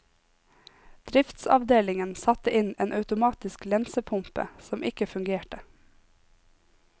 Driftsavdelingen satte inn en automatisk lensepumpe som ikke fungerte.